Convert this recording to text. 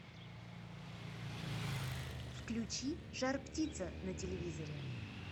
включи жар птица на телевизоре